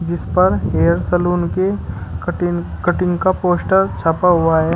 इस पर hair salon के कटिंग कटिंग का पोस्टर छपा हुआ है।